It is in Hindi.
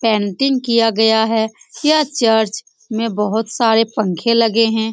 पेंटिंग किया गया है यह चर्च में बहोत सारे पंखे लगे हैं।